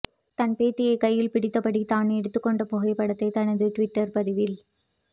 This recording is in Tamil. தன் பேத்தியை கையில் பிடித்தபடி தான் எடுத்துக் கொண்ட புகைப்படத்தை தனது டிவிட்டர் பதிவில்